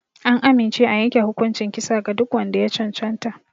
An amince a yanke hukuncin kisa ga duk wanda ya cancanta.